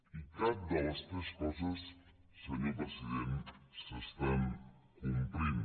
i cap de les tres coses senyor president s’està complint